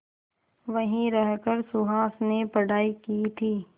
वहीं रहकर सुहास ने पढ़ाई की थी